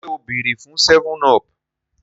ṣe o beere fun 7up?